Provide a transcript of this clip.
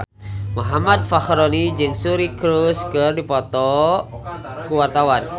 Muhammad Fachroni jeung Suri Cruise keur dipoto ku wartawan